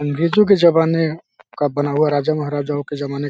अंग्रेजो के ज़माने का बना हुआ राजा महाराजाओ के जमाने --